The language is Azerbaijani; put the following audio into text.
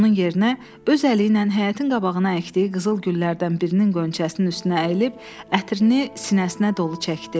Onun yerinə öz əliylə həyətin qabağına əkdiyi qızıl güllərdən birinin qönçəsinin üstünə əyilib ətrini sinəsinə dolu çəkdi.